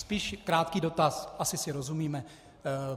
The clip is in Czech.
Spíš krátký dotaz - asi si rozumíme.